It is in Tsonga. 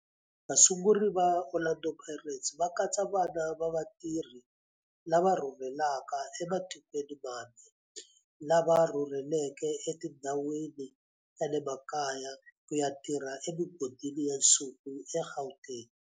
Vasunguri va Orlando Pirates va katsa vana va vatirhi lava rhurhelaka ematikweni mambe lava rhurheleke etindhawini ta le makaya ku ya tirha emigodini ya nsuku eGauteng.